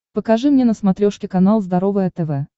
покажи мне на смотрешке канал здоровое тв